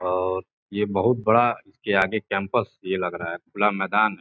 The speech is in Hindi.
और ये बहुत बड़ा इसके आगे कैंपस ये लग रहा है खुला मैदान।